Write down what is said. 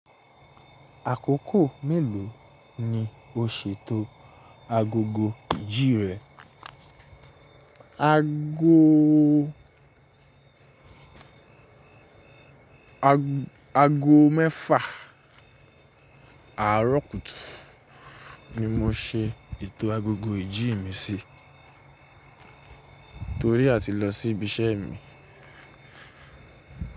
Àkókò mélòó ni o ṣètò agogo ìjì rẹ? Ago, ago mẹ́fà àárọ̀ kùtù ni mo ṣe ètò agogo ìjì mi sí torí a ti lọ sí ibi iṣẹ́ mi.